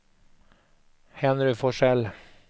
Henry Forsell